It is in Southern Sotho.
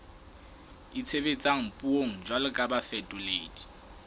itshebetsang puong jwalo ka bafetoledi